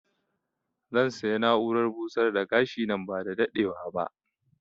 Zan saya na'urar busar da gashi nan ba da daɗewa ba